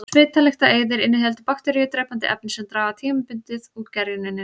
Svitalyktareyðir inniheldur því bakteríudrepandi efni sem draga tímabundið úr gerjuninni.